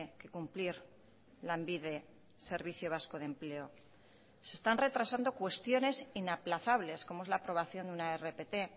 que cumplir lanbide servicio vasco de empleo se están retrasando cuestiones inaplazables como es la aprobación de una rpt